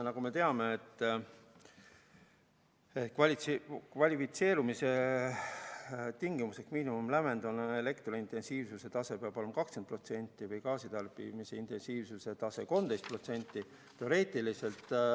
Nagu me teame, kvalifitseerumise tingimuslik miinimumlävend on see, et elektrointensiivsuse tase peab olema 20% või gaasitarbimise intensiivsuse tase 13%.